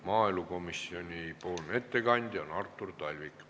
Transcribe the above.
Maaelukomisjoni ettekandja on Artur Talvik.